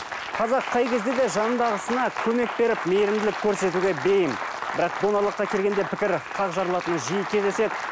қазақ қай кезде де жанындағысына көмек беріп мейірімділік көрсетуге бейім бірақ донорлыққа келгенде пікір қар жарылатыны жиі кездеседі